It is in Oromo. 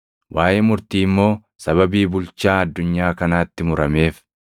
waaʼee murtii immoo sababii bulchaa addunyaa kanaatti murameef.